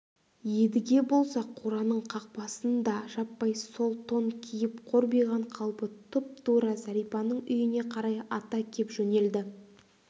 едіге болса қораның қақпасын да жаппай сол тон киіп қорбиған қалпы тұп-тура зәрипаның үйіне қарай ата кеп жөнелді